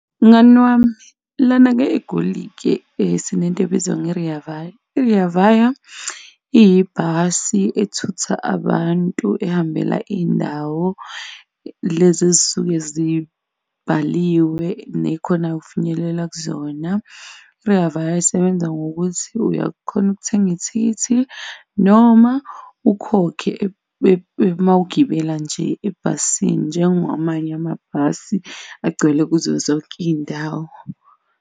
Mngani wami lana-ke eGoli-ke sinento ebizwa nge Rea Vaya. I-Rea Vaya iyibhasi ethutha abantu ehambela izindawo lezi ezisuke zibhaliwe nekhona ukufinyelela kuzona. I-Rea Vaya isebenza ngokuthi uyakhona ukuthenga ithikithi noma ukhokhe mawugibela nje ebhasini njenga wamanye amabhasi agcwele kuzo zonke izindawo.